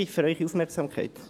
Ich fasse zusammen: